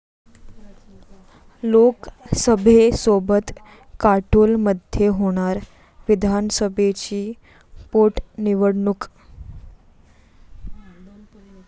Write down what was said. लोकसभेसोबत काटोलमध्ये होणार विधानसभेची पोटनिवडणूक